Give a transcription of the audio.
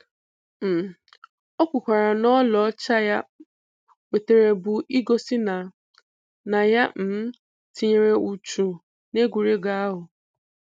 um O kwukwara na ọlaọcha ya wetere bụ igosi na na ya um tinyere uchu n'egwuregwu ahụ.